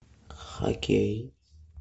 хоккей